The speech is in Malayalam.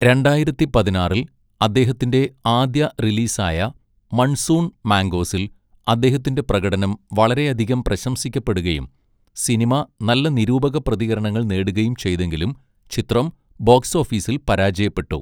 രണ്ടായിരത്തിപതിനാറിൽ അദ്ദേഹത്തിന്റെ ആദ്യ റിലീസായ മൺസൂൺ മാംഗോസിൽ അദ്ദേഹത്തിന്റെ പ്രകടനം വളരെയധികം പ്രശംസിക്കപ്പെടുകയും സിനിമ നല്ല നിരൂപക പ്രതികരണങ്ങൾ നേടുകയും ചെയ്തെങ്കിലും ചിത്രം ബോക്സോഫീസിൽ പരാജയപ്പെട്ടു.